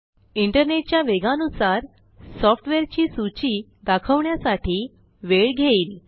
इंटरनेटच्या वेगानुसार सॉफ्टवेअरची सूची दाखवण्यासाठी वेळ घेईल